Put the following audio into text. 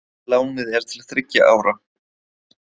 Lánið er til þriggja ára